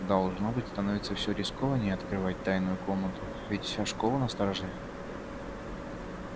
должно быть становится всё рискованней открывать тайную комнату ведь вся школа настороже